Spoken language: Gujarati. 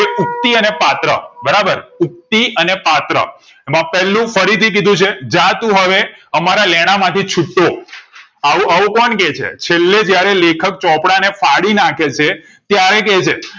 ઉક્તિ અને પાત્ર બરાબર ઉક્તિ અને પાત્ર એમાં પેલું ફરીથી કીધું છે જા તું હવે અમારા લેણાં માંથી છુટ્ટો આવું આવું કોણ કે છે છેલ્લે જયારે લેખક ચોપડા ને ફાડીનાખે છે ત્યારે કે છે